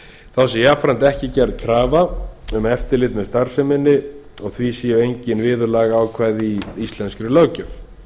þá sé jafnframt ekki gerð krafa um eftirlit með starfsemi sem þessari og því séu engin viðurlagaákvæði í íslenskri löggjöf